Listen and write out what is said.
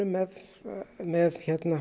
með með